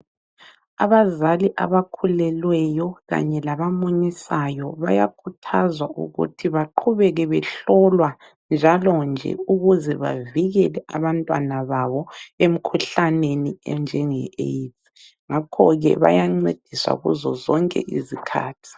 Abazali abakhulelweyo kanye labamunyisayo bayakhuthazwa ukuthi baqhubeke behlolwa njalonje ukuze bavikele abantwana babo emkhuhlaneni enjenge AiDS ngakhoke bayancediswa kuzo zonke izikhathi.